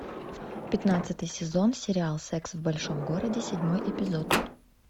пятнадцатый сезон сериал секс в большом городе седьмой эпизод